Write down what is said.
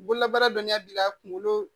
Bololabaara dɔnya bi ka kunkolo